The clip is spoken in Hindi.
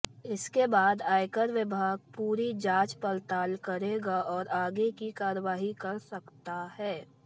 इसके बाद आयकर विभाग पूरी जांच पड़ताल करेगा और आगे की कार्रवाई कर सकता है